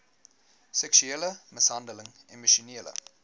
seksuele mishandeling emosionele